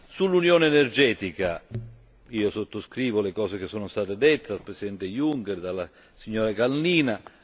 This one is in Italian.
Sull'unione energetica io sottoscrivo le cose che sono state dette dal presidente Juncker e dalla signora Kalniņa Lukaševica.